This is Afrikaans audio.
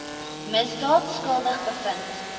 misdaad skuldig bevind